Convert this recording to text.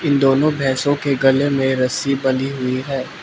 दोनों भैंसों के गले में रस्सी बंधी हुई हैं।